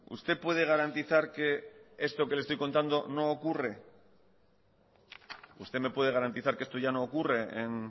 usted puede garantizar que esto que le estoy contando no ocurre usted me puede garantizar que esto ya no ocurre en